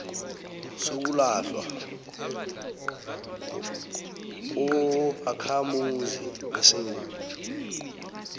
sokulahlwa kobakhamuzi besewula